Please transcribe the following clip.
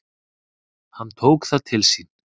Hann tók það til sín: